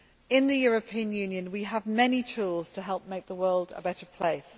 too. In the European Union, we have many tools to help make the world a better place.